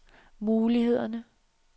mulighederne